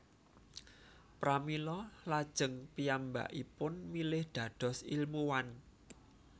Pramila lajeng piyambakipun milih dados ilmuwan